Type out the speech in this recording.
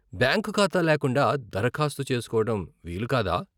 Bank ఖాతా లేకుండా దరఖాస్తు చేసుకోవడం వీలు కాదా?